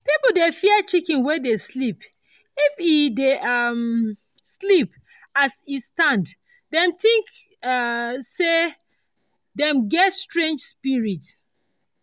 people dey fear chicken wey dey sleep if e dey um sleep as e stand dem think um say dem get strange spirit.